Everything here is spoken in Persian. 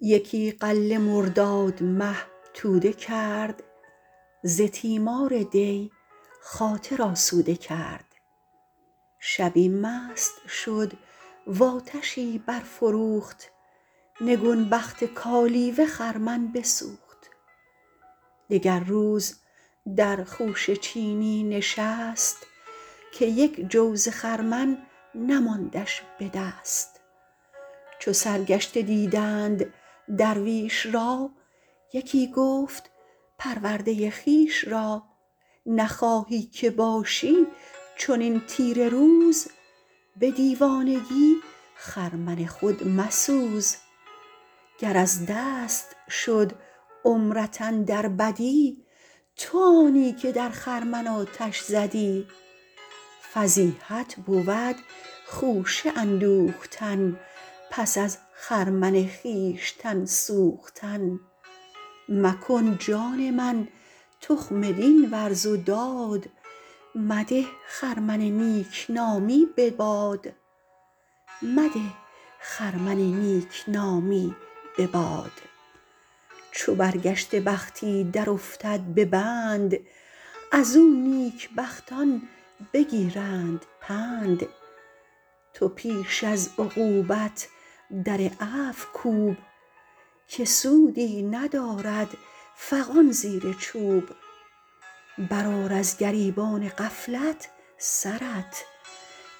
یکی غله مرداد مه توده کرد ز تیمار دی خاطر آسوده کرد شبی مست شد و آتشی برفروخت نگون بخت کالیوه خرمن بسوخت دگر روز در خوشه چینی نشست که یک جو ز خرمن نماندش به دست چو سرگشته دیدند درویش را یکی گفت پرورده خویش را نخواهی که باشی چنین تیره روز به دیوانگی خرمن خود مسوز گر از دست شد عمرت اندر بدی تو آنی که در خرمن آتش زدی فضیحت بود خوشه اندوختن پس از خرمن خویشتن سوختن مکن جان من تخم دین ورز و داد مده خرمن نیکنامی به باد چو برگشته بختی در افتد به بند از او نیک بختان بگیرند پند تو پیش از عقوبت در عفو کوب که سودی ندارد فغان زیر چوب بر آر از گریبان غفلت سرت